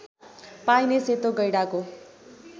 पाइने सेतो गैंडाको